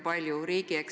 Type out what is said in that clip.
Kas ministeerium ise?